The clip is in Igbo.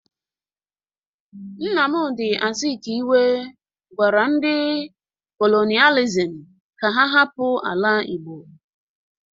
Nnamdi Azikiwe gwara ndi kolonializm ka ha hapụ ala igbo!